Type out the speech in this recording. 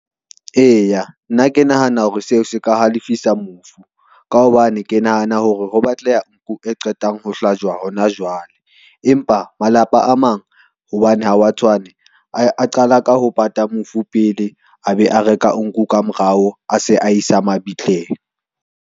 Eya, nna ke nahana hore seo se ka ha lefisa mofu, ka hobane ke nahana hore ho batleha nku e qetang ho hlajwa hona jwale. Empa malapa a mang, hobane ha wa tshwane a qala ka ho pata mofu pele, a be a reka nku ka morao, a se a isa mabitleng.